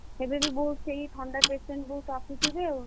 ଏବେ ବି ବହୁତ ସେଇ ଥଣ୍ଡା patient ବହୁତ ଆସୁଥିବେ ଆଉ।